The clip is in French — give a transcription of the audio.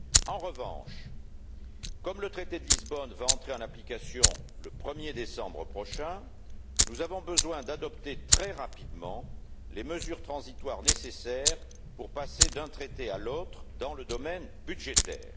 En revanche, comme le traité de Lisbonne va entrer en application le 1 er décembre prochain, nous avons besoin d'adopter très rapidement les mesures transitoires nécessaires pour passer d'un traité à l'autre dans le domaine budgétaire.